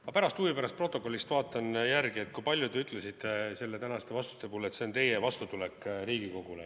Ma pärast huvi pärast stenogrammist vaatan järele, kui palju te ütlesite tänastes vastustes, et see on teie vastutulek Riigikogule.